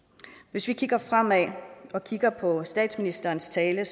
hvis vi kigger fremad og kigger på statsministerens tale